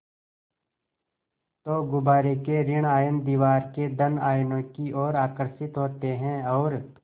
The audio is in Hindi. तो गुब्बारे के ॠण आयन दीवार के धन आयनों की ओर आकर्षित होते हैं और